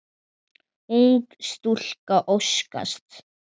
Ung stúlka óskast.